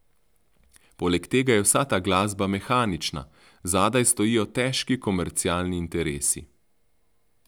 Poleg tega je vsa ta glasba mehanična, zadaj stojijo težki komercialni interesi.